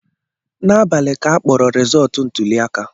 N'abali ka akpọrọ rizọọtụ ntụliaka